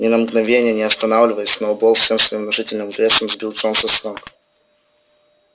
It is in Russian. ни на мгновенье не останавливаясь сноуболл всем своим внушительным весом сбил джонса с ног